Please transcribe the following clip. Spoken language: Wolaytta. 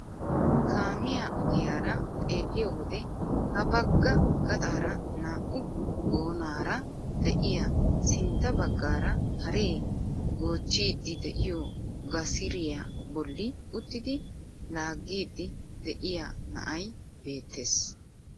Kaamiyaa ogiyaara xeelliyoo wode ha bagga gaxaara naa"u goonaara de'iyaa sintta baggaara haree goochchidi de'iyoo gasriyaa bolli uttidi laaggiidi de'iyaa na'ay beettees.